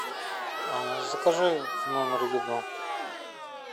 а закажи в номер еду